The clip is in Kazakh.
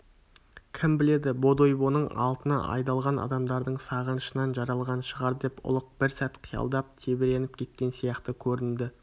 кім біледі бодойбоның алтыны айдалған адамдардың сағынышынан жаралған шығар деп ұлық бір сәт қиялдап тебіреніп кеткен сияқты көрінді